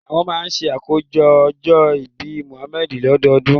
Àwọn máa ń ṣàjọyọ̀ ọjọ́ ìbí Muhammad lọ́dọọdún